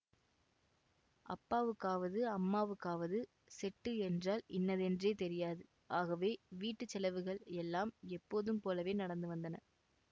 அப்பாவுக்காவது அம்மாவுக்காவது செட்டு என்றால் இன்னதென்றே தெரியாது ஆகவே வீட்டு செலவுகள் எல்லாம் எப்போதும் போலவே நடந்து வந்தன